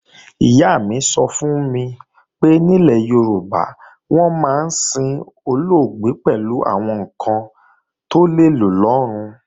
Ìyá mi sọ fún mi pé nílẹ̀ Yorùbá, wọ́n máa ń sin olóògbé pẹ̀lú àwọn ǹkan tó lè lò lọ́run